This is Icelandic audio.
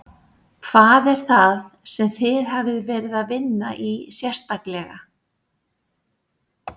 Hvað er það sem þið hafið verið að vinna í sérstaklega?